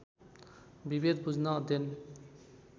विभेद बुझ्न अध्ययन